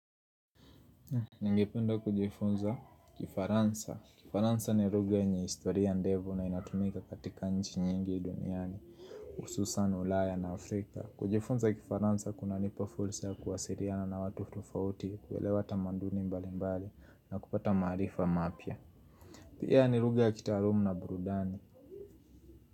Ningependa kujifunza kifaransa. Kifaransa ni rugha yenye historia ndevu na inatumika katika nchi nyingi duniani. Ususan ulaya na Afrika. Kujifunza kifaransa kunanipa fulsa kuwasiriana na watu tofauti. Kuelewa tamaduni mbali mbali na kupata maarifa mapya. Pia ni rugha ya kitaalumu na burudani.